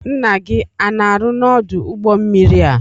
Nna gị ana arụ n'odu ụgbọ mmiri a?